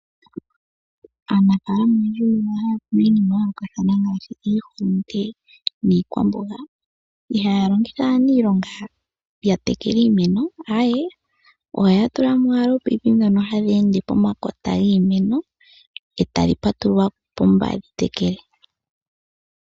Aanafaalama oyendji ohaya kunu iinima ya yoolokathana ngaashi iihulunde niikwamboga ihaya longitha aaniilonga ya tekele iimeno ohaya tulamo owala oopayipi dhono hadhi ende pomakota giimeno etadhi patululwa opo dhi tekele.